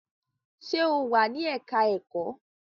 Sé o wà ní ẹ̀ka-ẹ̀kọ́?